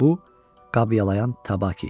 Bu Qabyalayan Tabaki idi.